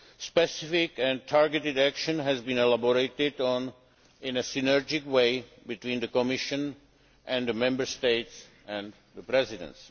Specific and targeted action has been elaborated on in a synergic way between the Commission and the Member States and the Presidency.